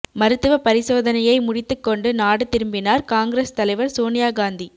மருத்துவ பரிசோதனயை முடித்துக்கொண்டு நாடு திரும்பினார் காங்கிரஸ் தலைவர் சோனியா காந்தி